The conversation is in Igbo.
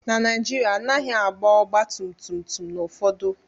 Na Naijiria, a naghị agba ọgba tum tum n’obodo ụfọdụ